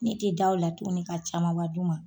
Ne te daw la tuguni ka camanba d'u ma.